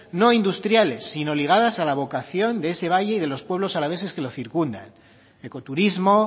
no industriales sino ligadas a la vocación de ese valle y de los pueblos alaveses que lo circundan ecoturismo